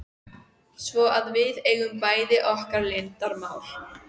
Svo að við eigum bæði okkar leyndarmál.